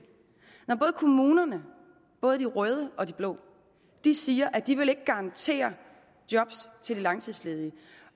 når både kommunerne både de røde og de blå siger at de ikke vil garantere job til de langtidsledige